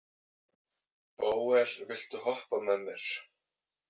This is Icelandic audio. Bóel, viltu hoppa með mér?